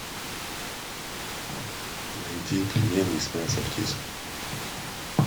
найди пельмени из мяса птицы